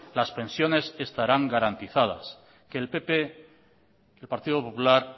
las pensiones estarán garantizadas que el pp el partido popular